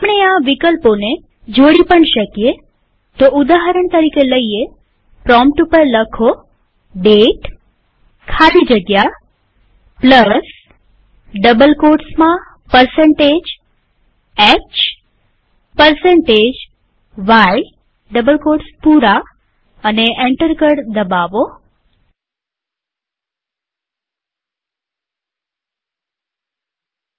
આપણે આ વિકલ્પોને જોડી પણ શકીએઉદાહરણ તરીકેપ્રોમ્પ્ટ ઉપર દાતે ખાલી જગ્યા hy લખી અને એન્ટર કળ દબાવીએ